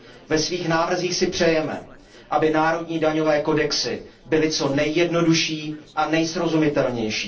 Ve svých návrzích si přejeme, aby národní daňové kodexy byly co nejjednodušší a nejsrozumitelnější.